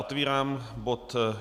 Otevírám bod